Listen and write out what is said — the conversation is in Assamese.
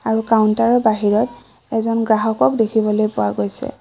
আৰু কাউন্টাৰৰ বাহিৰত এজন গ্ৰাহকক দেখিবলৈ পোৱা গৈছে।